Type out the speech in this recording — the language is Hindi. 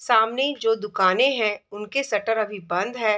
सामने जो दुकानें हैं उनके शटर अभी बंद है |